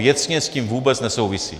Věcně s tím vůbec nesouvisí.